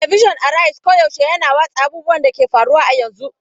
Talabijin Araiz koyaushe yana watsa abubuwan da ke faruwa a yanzu.